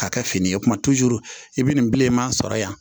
K'a kɛ fini ye kuma i bɛ nin bilenman sɔrɔ yan